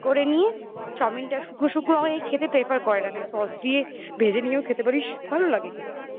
চাউমিনটা শুকনো শুকনো হয়ে খেতে prefer করে না তাই sauce দিয়ে ভেজে নিয়েও খেতে পারিস ভালো লাগে খেতে